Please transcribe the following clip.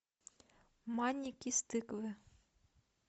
манник из тыквы